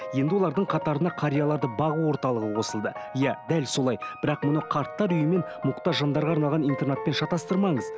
енді олардың қатарына қарияларды бағу орталығы қосылды иә дәл солай бірақ мұны қарттар үйі мен мұқтаж жандарға арналған интернатпен шатастырмаңыз